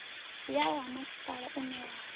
yaho ha masipala une wa